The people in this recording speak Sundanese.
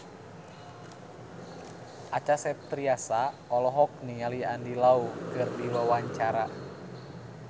Acha Septriasa olohok ningali Andy Lau keur diwawancara